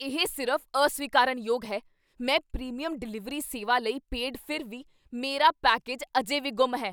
ਇਹ ਸਿਰਫ਼ ਅਸਵੀਕਾਰਨਯੋਗ ਹੈ! ਮੈਂ ਪ੍ਰੀਮੀਅਮ ਡਿਲੀਵਰੀ ਸੇਵਾ ਲਈ ਪੇਡ, ਫਿਰ ਵੀ ਮੇਰਾ ਪੈਕੇਜ ਅਜੇ ਵੀ ਗੁੰਮ ਹੈ!